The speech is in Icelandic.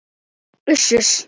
Uss, uss.